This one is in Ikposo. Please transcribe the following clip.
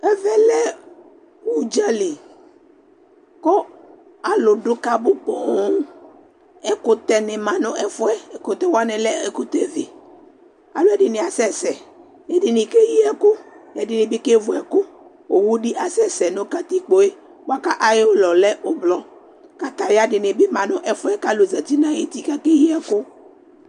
Ɛvɛ lɛ udzaliKʋ alu dʋ kabʋ poooŋ Ɛkutɛ ni ma nʋ ɛfuɛ, ɛkutɛ wani lɛ ɛkutɛ viAlu ɛdini asɛsɛ Ɛdini keyi ɛkʋƐdinibi kevu ɛkʋOwu di asɛsɛ nʋ katikpoe, bua kʋ ayiʋ ulɔ yɛ lɛ ublɔ kataya dini bi ma nu ɛfuɛ Kalu za nʋ ayuti kakeyi ɛkʋ